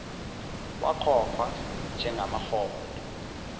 wakhokhwa njenga maholo